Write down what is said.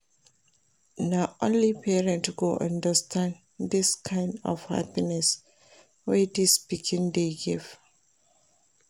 Na only parent go understand dis kain of happiness wey dis pikin dey give.